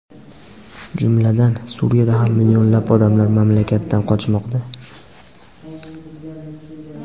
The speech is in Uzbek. Jumladan, Suriyada ham millionlab odamlar mamlakatdan qochmoqda.